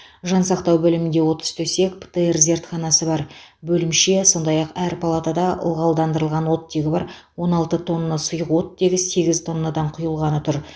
жансақтау бөлімінде отыз төсек птр зертханасы бар бөлімше сондай ақ әр палатада ылғалдандырылған оттегі бар он алты тонна сұйық оттегі сегіз тоннадан құйылғаны тұр